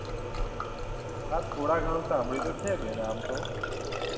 હા થોડા ઘણા સાંભળ્યું તો છે બેન આમ તો